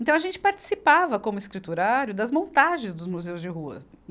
Então a gente participava, como escriturário, das montagens dos museus de rua.